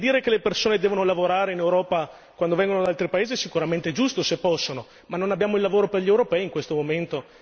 Perché dire che le persone devono lavorare in Europa quando vengono da altri paesi è sicuramente giusto se possono, ma non abbiamo il lavoro per gli europei in questo momento!